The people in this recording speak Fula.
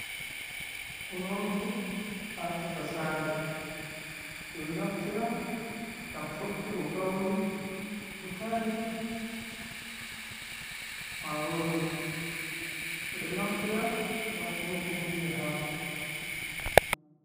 Unordu hacakasare, ɓeɗon naftira ngam sottugo gauri, butali, marori, ɓeɗon naftira ngam unugo hunde hako.